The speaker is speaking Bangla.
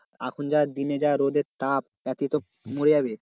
এখন যা দিনে যা রোদের তাপ তাতেই তো মরে যাবে।